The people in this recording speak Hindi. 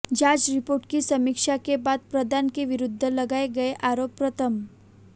जांच रिपोर्ट की समीक्षा के बाद प्रधान के विरुद्ध लगाए गए आरोप प्रथम